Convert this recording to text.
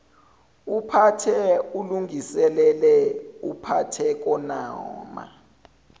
uphathe ulungiselele uphakenoma